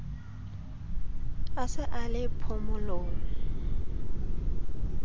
a se a le phomolong